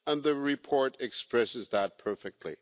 The report expresses that perfectly.